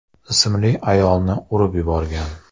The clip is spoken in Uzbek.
ismli ayolni urib yuborgan.